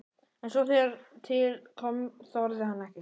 En svo þegar til kom þorði hann ekki.